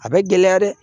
A bɛ gɛlɛya dɛ